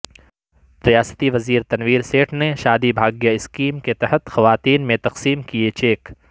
ریاستی وزیر تنویرسیٹھ نے شادی بھاگیہ اسکیم کے تحت خواتین میں تقسیم کئے چیک